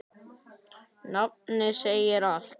Nafnið segir allt.